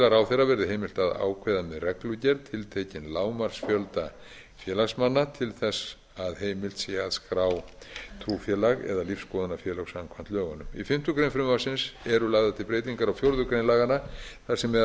ráðherra verði heimilt að ákveða með reglugerð tiltekinn lágmarksfjölda félagsmanna til þess að heimilt sé að skrá trúfélag eða lífsskoðunarfélag samkvæmt lögunum í fimmtu grein frumvarpsins eru lagðar til breytingar á fjórðu grein laganna þar sem meðal